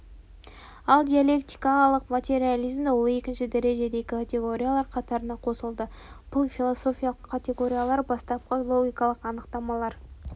ал диалектикалық материализмде ол екінші дәрежедегі категориялар қатарына қосылды бұл философиялық категориялар бастапқы логикалық анықтамалар